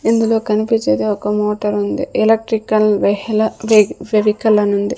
ఇందులో కనిపించేది ఒక మోటార్ ఉంది ఎలక్ట్రికల్ వేహాల ఫెవికల్ అని ఉంది.